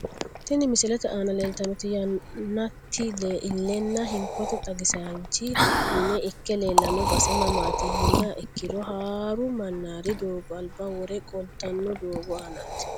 Tini misilete aana leelitanoti yaaneti ilenna hinkote xagisaanchi mine ike leelano base mamaati yiniha ikiro haaru manaari doogo alba woro qoltano doogo aanati.